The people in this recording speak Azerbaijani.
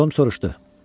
Tom soruşdu.